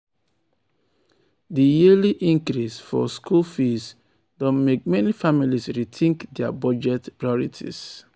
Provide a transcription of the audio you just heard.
di yearly increase for school fees don mek meni families rethink dia budget priorities.